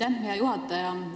Aitäh, hea juhataja!